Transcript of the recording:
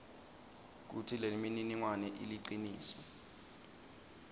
kutsi lemininingwane iliciniso